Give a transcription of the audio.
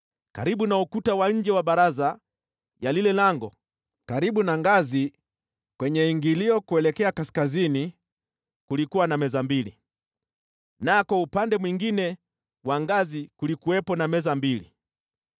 Karibu na ukuta wa nje wa baraza ya lile lango karibu na ngazi kwenye ingilio kuelekea kaskazini kulikuwa na meza mbili, nako upande mwingine wa ngazi kulikuwepo na meza mbili.